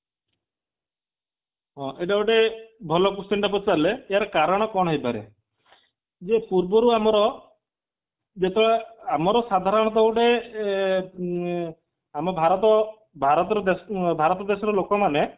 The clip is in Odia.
ହଁ ଏଇଟା ଗୋଟେ ଭଲ question ଟେ ପଚାରିଲେ ଏହାର କାରଣ ହୋଇପାରେ ଯେ ପୂର୍ବରୁ ଆମର ଯେତେ ଆମର ସାଧାରଣତଃ ଗୋଟେ ଏ ଊ ଆମ ଭାରତ ଭାରତ ଦେଶର ଲୋକମାନେ